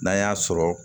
N'an y'a sɔrɔ